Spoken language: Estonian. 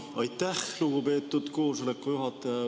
Aitäh, lugupeetud koosoleku juhataja!